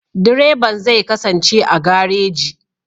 Direban zai kasance a gareji.